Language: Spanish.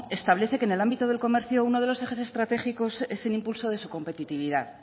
establece que en el ámbito del comercio uno de los ejes estratégicos es el impulso de su competitividad